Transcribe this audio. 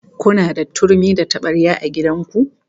Kuna da turmi da tabarya a gidan ku?